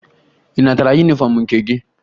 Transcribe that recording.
Ị natara yunifọmụ nke gị?